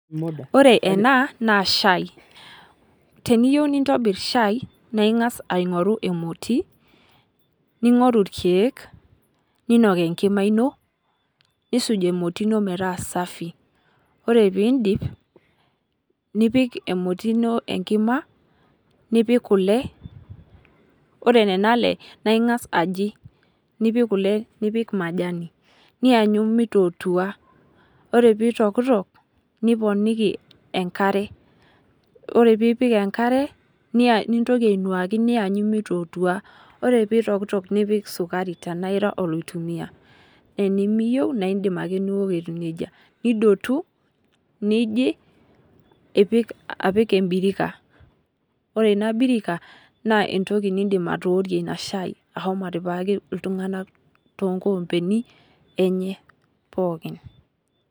Ore enaa naa shai. Teniyiou nintobir shai naa ing'as aing'oru emoti ning'oru irkeek ninok enkima ino nisuj emoti inoo meeta safi. Ore pidip nipik emoti ino enkima, nipik kule ore nena ale ning'as aji nipik kule nipik majanj niyanyu mitotua. Ore pitokitok niponiki enkare. Ore pipik enkare nintoki ainuaki niyanyu nitootua. Ore pitokitok nipik sukari tena ira oloitumia. Tenimiyeu naa idim ake ning'ua etiu neija. Nidotu nijii apik ebirika. Ore ina birika naa entoki nidim atookie ina shai ahomo atipikaki iltung'ana toonkompeni enye pookin.